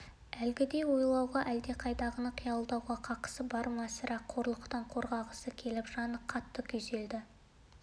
әлгідей ойлауға әлдеқайдағыны қиялдауға қақысы бар ма сірә қорлықтан қорғағысы келіп жаны қатты күйзелді